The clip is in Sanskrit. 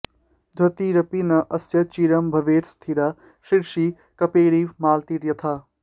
द्युतिरपि न अस्य चिरं भवेत् स्थिरा शिरसि कपेरिव मालती यथा